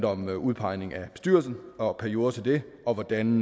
om udpegning af bestyrelsen og perioder til det og hvordan